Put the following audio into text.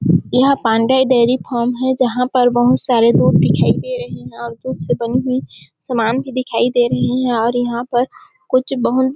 यह Pandey dairy farm है जहाँ पर बहुत सारे लोग दिखाई दे रहे है और दूध से बनी हुई सामान भी दिखाई दे रही है और यहाँ पर कुछ बहु--